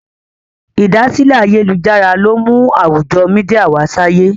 ìdásílẹ̀ Ayélujára lọ mú àwùjọ media wá sáyé.